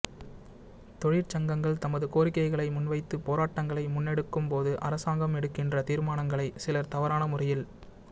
தொழிற்சங்கங்கள் தமது கோரிக்கைகளை முன்வைத்து போராட்டங்களை முன்னெடுக்கும் போது அரசாங்கம் எடுக்கின்ற தீர்மானங்களை சிலர் தவறான முறையில்